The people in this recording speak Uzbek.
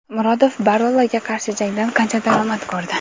Murodov Borraloga qarshi jangdan qancha daromad ko‘rdi?.